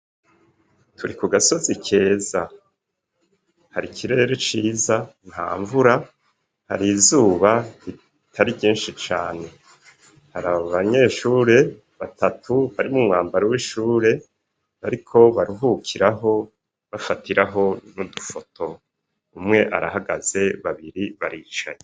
Turi ku gasozi keza, hari ikirere ciza, nta mvura, hari izuba ritari ryinshi cane, hari abanyeshure batatu bari m'umwambaro w'ishure bariko baruhukiraho bafatiraho n'udufoto, umwe arahagaze, babiri baricaye.